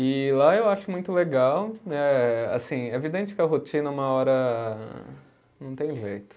E lá eu acho muito legal, eh assim, é evidente que a rotina uma hora não tem jeito.